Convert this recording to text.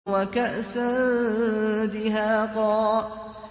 وَكَأْسًا دِهَاقًا